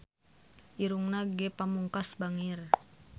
Irungna Ge Pamungkas bangir